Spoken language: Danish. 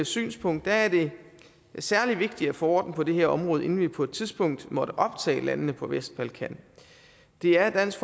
synspunkt er det særlig vigtigt at få orden på det her område inden vi på et tidspunkt måtte optage landene på vestbalkan det er dansk